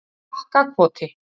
Bakkakoti